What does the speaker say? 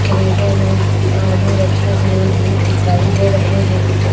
क्रेटों में आलू रखे हुए भी दिखाई दे रहे हैं।